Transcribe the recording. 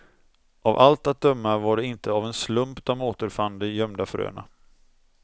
Av allt att döma var det inte av en slump de återfann de gömda fröna.